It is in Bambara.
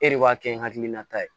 E de b'a kɛ n hakilinata ye